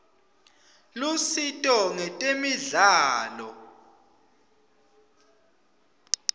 lusito ngetemidlalo